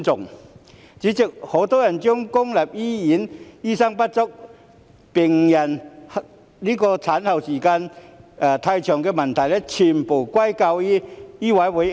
代理主席，很多人將公立醫院醫生不足、病人候診時間過長的問題，全部歸咎於醫委會。